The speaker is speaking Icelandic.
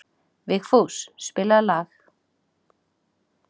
Vigfús, spilaðu lag.